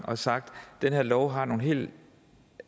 og har sagt at den her lov har nogle